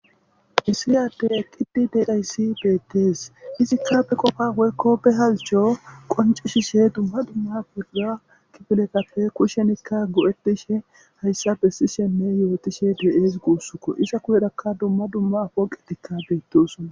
Issiyyade eqqidi dedhayssi beettees izikkafe qofa woykko be halcho qoncishishe dumma dumma boda kibilekapfe kushenikka gu7etishe hayssa bessishenne yootishe deyeez guussukko isa kuhedakka dumma dumma poqetikka beetti usona